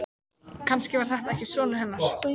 Kannski var þetta ekki sonur hennar.